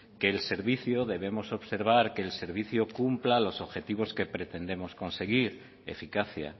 que el servicio debemos observar que el servicio cumpla los objetivos que pretendemos conseguir eficacia